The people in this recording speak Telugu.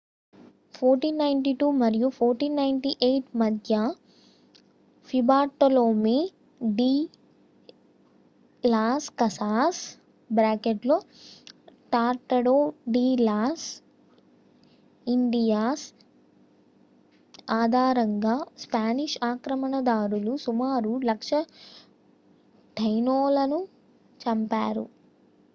1492 మరియు 1498 మధ్య Fray Bartolome de Las Casas Tratado de las Indias ఆధారంగా స్పానిష్ ఆక్రమణ దారులు సుమారు 100,000 టైనోలను చంపారు